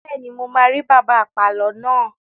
Bẹ́ẹ̀ni, mo máa rí bàbá apàlo náà.